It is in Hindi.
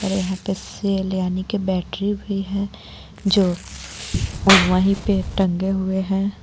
और यहाँ पर सेल यानि की बैटरी भी हे जो और वही पे टंगे हुए हे.